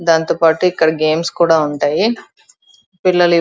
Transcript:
దాంతోపాటు ఇక్కడ గేమ్స్ కూడా ఉంటాయి పిల్లలు --